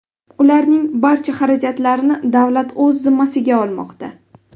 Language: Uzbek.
Ularning barcha xarajatlarini davlat o‘z zimmasiga olmoqda.